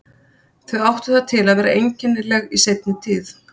Þau áttu það til að vera einkennileg í seinni tíð.